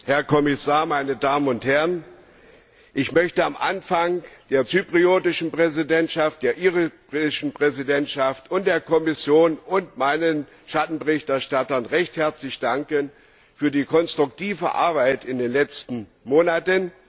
Herr Präsident, Herr Kommissar, meine Damen und Herren! Ich möchte am Anfang der zyprischen Präsidentschaft, der irischen Präsidentschaft und der Kommission und meinen Schattenberichterstattern recht herzlich danken für die konstruktive Arbeit in den letzten Monaten.